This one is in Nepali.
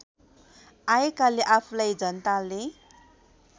आएकाले आफूलाई जनताले